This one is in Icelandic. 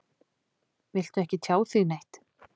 Viltu ekki tjá þig neitt?